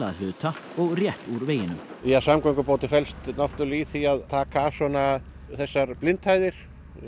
hluta og rétt úr veginum samgöngubótin felst í því að taka af þessar blindhæðir